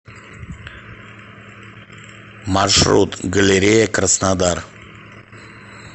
маршрут галерея краснодар